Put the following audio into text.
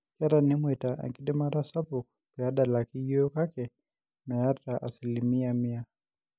Keeta NMoita enkidimata sapuk peedalaki yiok kake mee asilimia mia